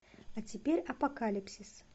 а теперь апокалипсис